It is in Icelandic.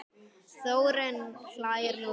Þórunn hlær lágt.